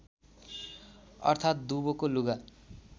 अर्थात् दुवोको लुगा